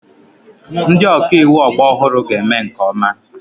Ndị ọka iwu ọgbọ ọhụrụ ga-eme nke ọma.